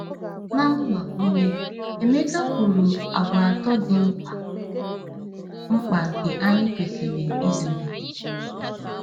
Na mgbakwunye, Emeka kwuru àgwà atọ dị mkpa mkpa nke anyị kwesịrị ịzụlite.